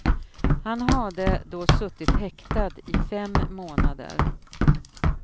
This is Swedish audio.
Han hade då suttit häktad i fem månader.